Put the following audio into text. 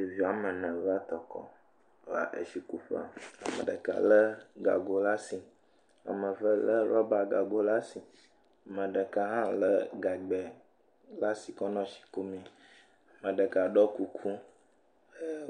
Ɖevi woame ene va tɔkɔ, va etsikuƒe ame ɖeka lé gago le asi, ame eve lé rɔba gago le asi, ame ɖeka hã lé rɔba gagbɛ le asi kɔ nɔ etsi kumee. Ame ɖeka ɖɔ kuku,